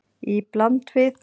Í bland við